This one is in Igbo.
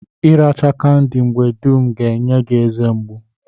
Ị racha kandị mgbe dum ga-enye gi eze mgbụ.